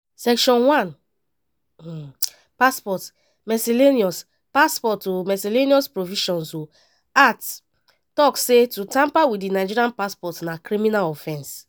section 1 (1) passport (miscellaneous passport (miscellaneous provisions) act tok say to tamper wit di nigerian passport na criminal offence.